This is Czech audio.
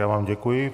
Já vám děkuji.